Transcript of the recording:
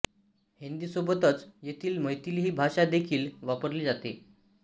हिंदीसोबतच येथे मैथिली ही भाषा देखील वापरली जाते